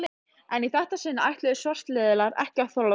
En í þetta sinn ætluðu svartliðar ekki að þola